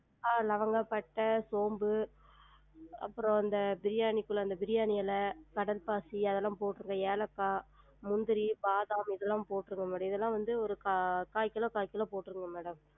ஆஹ் லவங்க, பட்டை, சோம்பு அப்றம் அந்த பிரியாணிக்குள்ள பிரியாணி எல, கடல் பாசி அதெல்லாம் போற்றுங்க ஏலக்கா, முந்திரி, பாதாம் இதெல்லாம் போற்றுங்க madam இதெல்லாம் வந்து ஒரு காய்கிலோ காய்கிலோ போற்றுங்க madam